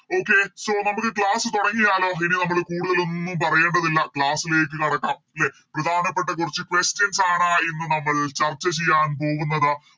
Okay so നമുക്ക് Class തൊടങ്ങിയാലോ ഇനി നമ്മള് കൂടുതലൊന്നും പറയണ്ടതില്ല Class ലേക്ക് കടക്കാം ലെ പ്രധാനപ്പെട്ട കൊറച്ച് Questions ആണ് ഇന്ന് നമ്മൾ ചർച്ച ചെയ്യാൻ പോകുന്നത്